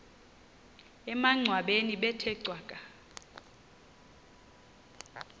emangcwabeni bethe cwaka